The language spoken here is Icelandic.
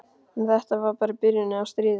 En þetta var bara byrjunin á stríðinu.